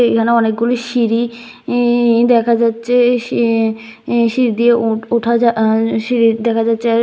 এখানে অনেকগুলি সিঁড়ি ই দেখা যাচ্ছে সিঁ সিঁড়ি দিয়ে উঠ উঠা যা সিঁড়ি দেখা যাচ্ছে।